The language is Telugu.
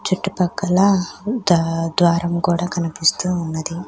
చుట్టుపక్కల ద-ద్వారము కూడా కనిపిస్తూ ఉన్నది.